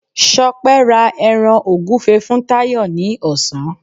Ṣọpẹ́ ra ẹran ògúfe fún Táyọ̀ ní ọ̀sán